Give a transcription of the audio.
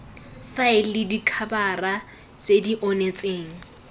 faele dikhabara tse di onetseng